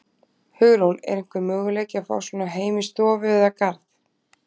Hugrún: Er einhver möguleiki að fá svona heim í stofu eða garð?